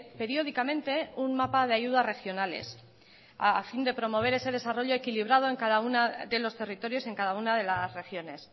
periódicamente un mapa de ayudas regionales a fin de promover ese desarrollo equilibrado en cada una de los territorios en cada una de las regiones